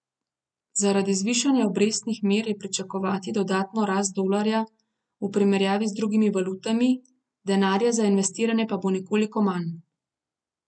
Zaradi zvišanja obrestnih mer je pričakovati dodatno rast dolarja v primerjavi z drugimi valutami, denarja za investiranje pa bo nekoliko manj.